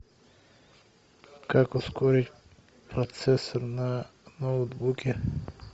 как ускорить процессор на ноутбуке